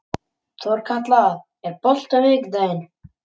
Þorkatla, er bolti á miðvikudaginn?